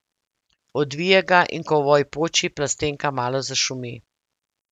Odvije ga, in ko ovoj poči, plastenka malo zašumi.